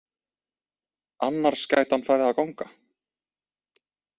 Annars gæti hann farið að ganga.